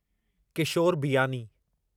Kishore Biyani